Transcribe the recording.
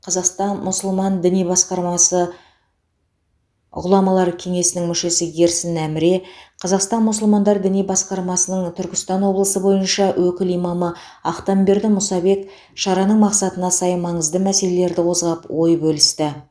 қазақстан мұсылман діни басқармасы ғұламалар кеңесінің мүшесі ерсін әміре қазақстан мұсылмандары діни басқармасының түркістан облысы бойынша өкіл имамы ақтамберды мұсабек шараның мақсатына сай маңызды мәселелерді қозғап ой бөлісті